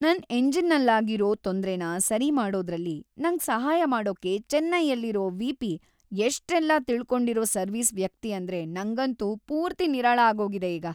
ನನ್ ಎಂಜಿನ್ನಲ್ಲಾಗಿರೋ ತೊಂದ್ರೆನ ಸರಿ ಮಾಡೋದ್ರಲ್ಲಿ ನಂಗ್ ಸಹಾಯ ಮಾಡೋಕೆ ಚೆನ್ನೈಯಲ್ಲಿರೋ ವಿ.ಪಿ. ಎಷ್ಟೆಲ್ಲ ತಿಳ್ಕೊಂಡಿರೋ ಸರ್ವಿಸ್‌ ವ್ಯಕ್ತಿ ಅಂದ್ರೆ ನಂಗಂತೂ ಪೂರ್ತಿ ನಿರಾಳ ಆಗೋಗಿದೆ ಈಗ.